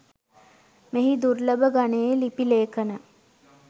මෙහි දුර්ලභ ගණයේ ලිපි ලේඛන